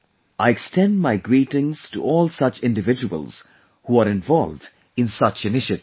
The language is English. I extend my greetings to all such individuals who are involved in such initiatives